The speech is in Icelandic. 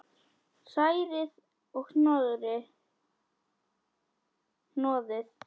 Hrærið og hnoðið.